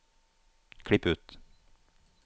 Klipp ut